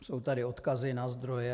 Jsou tady odkazy na zdroje.